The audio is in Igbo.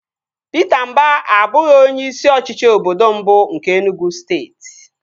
Pita Mba abụghị onye isi ọchịchị obodo mbụ nke Enugwu steeti